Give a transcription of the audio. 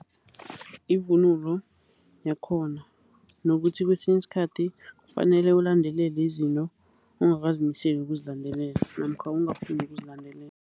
Ivunulo yakhona nokuthi kwesinye isikhathi kufanele ulandelele izinto ongakazimiseli ukuzilandelela namkha ongafuni ukuzilandelela.